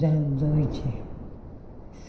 Da noite.